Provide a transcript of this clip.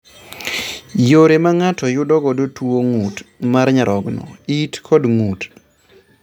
Yore ma ng'ato yudo godo tuo gund mar nyarogno, it kod ng'ut